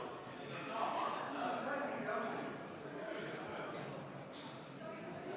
Jah, ma katkestan hääletuse ja Reformierakonna soovile vastu tulles teeme vaheaja.